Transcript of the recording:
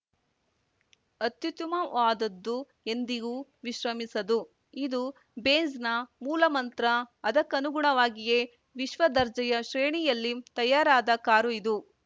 ಅತ್ಯುತ್ತಮವಾದದ್ದು ಎಂದಿಗೂ ವಿಶ್ರಮಿಸದು ಇದು ಬೆಂಝ್‌ ನ ಮೂಲ ಮಂತ್ರ ಅದಕ್ಕನುಗುಣವಾಗಿಯೇ ವಿಶ್ವದರ್ಜೆಯ ಶ್ರೇಣಿಯಲ್ಲಿ ತಯಾರಾದ ಕಾರು ಇದು